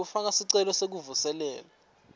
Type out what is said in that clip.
kufaka sicelo sekuvuselela